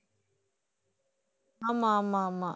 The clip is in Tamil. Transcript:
ஆமா ஆமா ஆமா